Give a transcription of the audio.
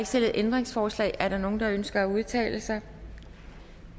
stillet ændringsforslag er der nogen der ønsker at udtale sig